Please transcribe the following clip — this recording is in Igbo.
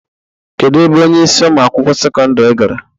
Kedu ebe onyeisi Ụmụ akwụkwọ sekọndrị gara?